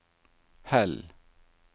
Hell